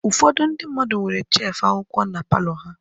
Ụfọdụ ndị mmadụ nwere shefu akwụkwọ na palọ ha.